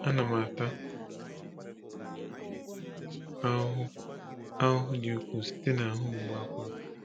A na m ata ahụhụ ahụhụ dị ukwuu site n’ahụ mgbu akwara.